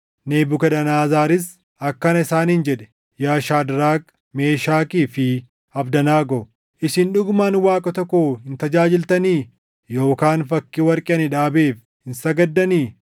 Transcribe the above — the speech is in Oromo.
Nebukadnezaris akkana isaaniin jedhe; “Yaa Shaadraak, Meeshakii fi Abdanaagoo, isin dhugumaan waaqota koo hin tajaajiltanii? Yookaan fakkii warqee ani dhaabeef hin sagaddanii?